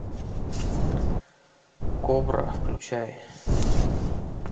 кобра включай